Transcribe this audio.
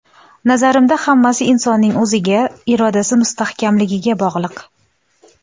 Nazarimda hammasi insonning o‘ziga, irodasi mustahkamligiga bog‘liq.